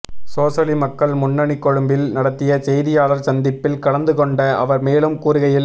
சோசலி மக்கள் முன்னணி கொழும்பில் நடத்திய செய்தியாளர் சந்திப்பில் கலந்துகொண்ட அவர் மேலும் கூறுகையில்